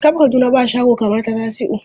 Kab Kaduna ba shago kamar ta Tasiu.